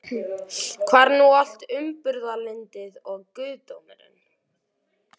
Hvar er nú allt umburðarlyndið og guðdómurinn?